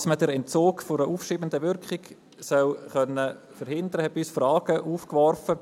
Auch dass man den Entzug einer aufschiebenden Wirkung verhindern können soll, warf bei uns Fragen auf.